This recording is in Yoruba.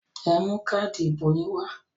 Ẹ mú káádì ìbò yín wá!